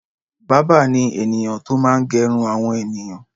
Bábà ni ènìyàn tó máa gẹrun àwọn ènìyàn.